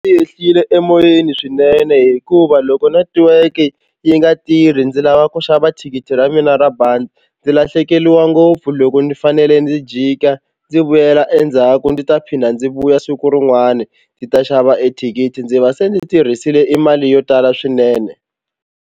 yehlile emoyeni swinene hikuva loko netiweke yi nga tirhi ndzi lava ku xava thikithi ra mina ra bazi ndzi lahlekeriwa ngopfu loko ndzi fanele ndzi jika ndzi vuyela endzhaku ndzi ta phinda ndzi vuya siku rin'wani ndzi ta xava e thikithi ndzi va se ndzi tirhisile i mali yo tala swinene.